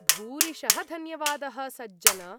भूरिशः धन्यवादः सज्जन!